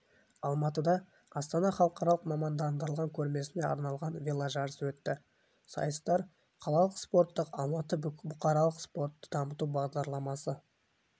алматыда астана халықаралық мамандандырылған көрмесіне арналған веложарыс өтті сайыстар қалалық спорттық алматы бұқаралық спортты дамыту бағдарламасы